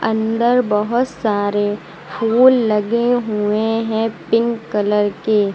अन्दर बहोत सारे फूल लगे हुए है पिंक कलर के--